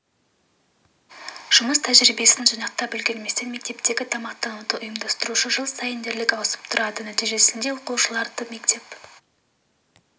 жұмыс тәжірибесін жинақтап үлгерместен мектептегі тамақтануды ұйымдастырушы жыл сайын дерлік ауысып тұрады нәтижесінде оқушылардың мектеп